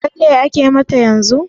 Lalle ake mata yanzun?